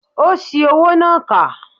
Ó ṣi owó náà kà